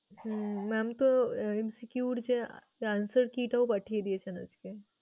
হম Mam তো MCQ এর যে answer key টাও পাঠিয়ে দিয়েছেন আজকে।